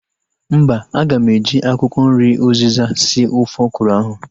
Mba, aga m eji akwụkwọ nri uzịza sie ofe ọkwụrụ ahu